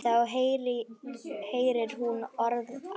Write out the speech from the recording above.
Þá heyrir hún orð afans.